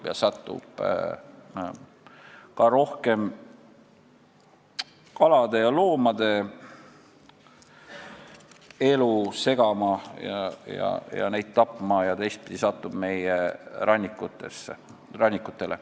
See segab rohkem kalade ja loomade elu, tapab neid, teistpidi aga satub meie rannikutele.